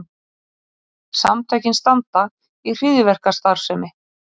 Samtökin standa í hryðjuverkastarfsemi